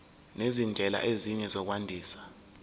nezindlela ezinye zokwandisa